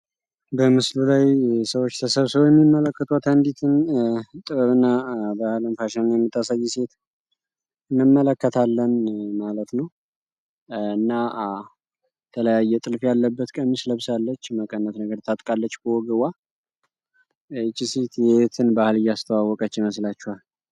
በምስሉ ላይ ተሰብስቦ የሚመለከቱት አንዲትን ጥበብና ባህል ፋሽን የምታሳይ ሴት እንመለከታለን ማለት ነው እና የተለያየ ጥልፍ ያለበት ልብስ ለብሳለች መቀነታ ታጥቃለች ወገቧ ላይ ይቺ ሴት የየትን ባህል እያስታወቀች ይመስላቸዋል?